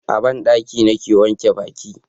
a banɗaki ni ke wanke baki